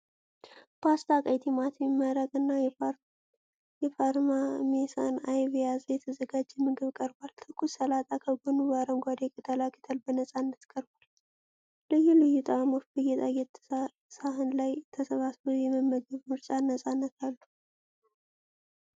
ፓስታ፣ ቀይ ቲማቲም መረቅ እና የፓርሜሳን አይብ የያዘ የተዘጋጀ ምግብ ቀርቧል። ትኩስ ሰላጣ ከጎኑ በአረንጓዴ ቅጠላቅጠል በነፃነት ቀርቧል። ልዩ ልዩ ጣዕሞች በጌጣጌጥ ሳህን ላይ ተሰባስበው የመመገብ ምርጫን ነፃነት አሉ።